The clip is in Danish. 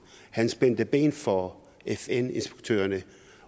han spændte ben for fn inspektørerne